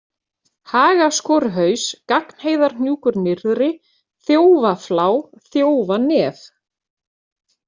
Hagaskoruhaus, Gagnheiðarhnjúkur nyrðri, Þjófaflá, Þjófanef